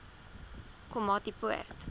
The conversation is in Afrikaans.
komatipoort